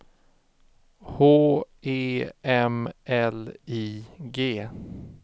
H E M L I G